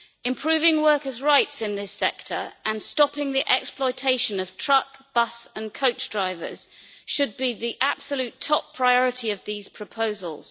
Improving workers' rights in this sector and stopping the exploitation of truck, bus and coach drivers should be the absolute top priority of these proposals.